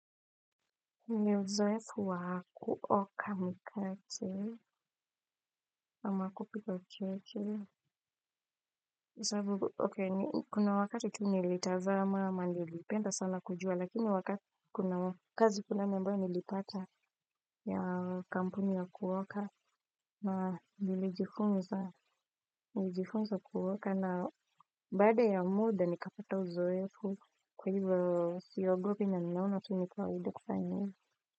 Ni uzoefu wa kuoka mkate ama kupika ucheche kuna wakati tu nilitazama ama nilipenda sana kujua lakini wakati kuna kazi kuna fulani ambao nilipata ya kampuni ya kuoka na nilijifunza kuoka na baada ya muda nikapata uzoefu kwa hivyo siogopi na ninaona tu ni kawaida kufanya hivyo.